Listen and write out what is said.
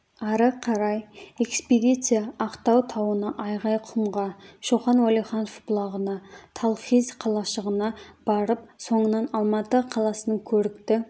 ары қарай экспедиция ақтау тауына айғайқұмға шоқан уәлиханов бұлағына талхиз қалашығына барып соңынан алматы қаласының көрікті